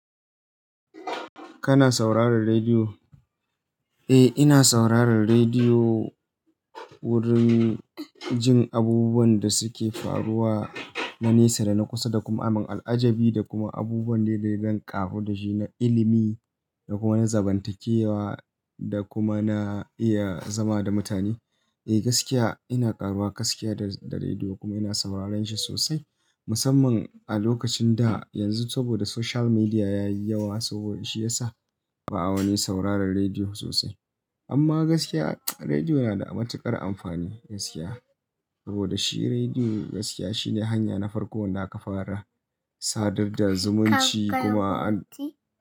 Kana saurarar rediyo? Eh, ina saurarar rediyo wurin jin abubuwan da suke faruwa na nesa da na kusa da kuma amun al'ajabi da kuma abubuwan daidai don ƙaru da shi na ilimi da kuma na zamantakewa da kuma na iya zama da mutane. Eh gaskiya ina ƙaruwa gaskiya da--da rediyo kuma ina sauraron shi sosai musamman a lokacin da yanzu saboda social media yayi yawa saboda shi yasa ba'a wani saurarar rediyo sosai. Amma gaskiya rediyo na da matuƙar amfani gaskiya saboda shi rediyo gaskiya shine hanya na farko wanda aka fara sadar da zumunci kuma an.